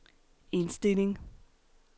indstilling